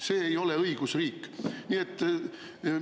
See ei ole õigusriik!